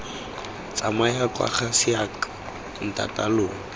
tsamaya kwa ga seako ntataalona